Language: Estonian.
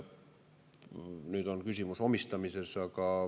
Nüüd on küsimus omistamises.